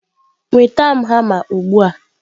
nweta m hama ugbu a!